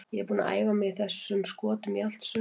Ég er búinn að æfa mig í þessum skotum í allt sumar.